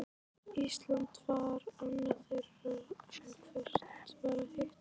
Ísland var annað þeirra, en hvert var hitt?